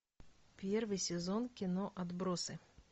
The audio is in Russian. первый сезон кино отбросы